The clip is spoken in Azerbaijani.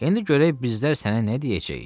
İndi görək bizlər sənə nə deyəcəyik?